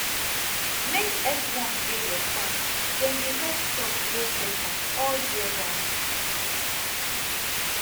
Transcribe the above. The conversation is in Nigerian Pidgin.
make earthworm dey your farm dem dey help crop grow better all year round